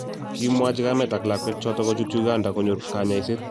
Kikimwachi kamet ak lakwet chotok kochut Uganda konyor kanyaiset